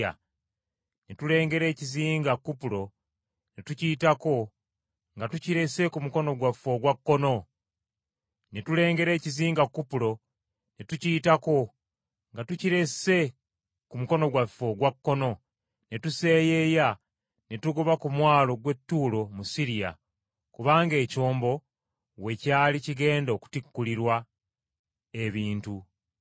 Ne tulengera ekizinga Kupulo, ne tukiyitako nga tukirese ku mukono gwaffe ogwa kkono, ne tuseeyeeya ne tugoba ku mwalo gw’e Ttuulo mu Siriya, kubanga ekyombo we kyali kigenda okutikkulirwa ebintu.